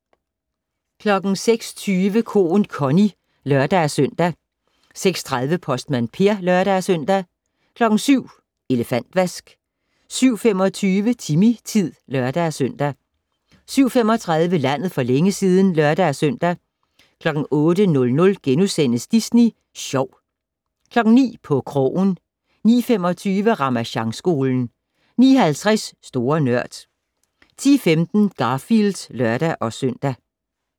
06:20: Koen Connie (lør-søn) 06:30: Postmand Per (lør-søn) 07:00: Elefantvask 07:25: Timmy-tid (lør-søn) 07:35: Landet for længe siden (lør-søn) 08:00: Disney Sjov * 09:00: På krogen 09:25: Ramasjangskolen 09:50: Store Nørd 10:15: Garfield (lør-søn)